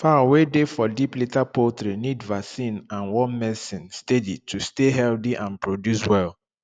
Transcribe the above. fowl wey dey for deep litter poultry need vaccine and worm medicine steady to stay healthy and produce well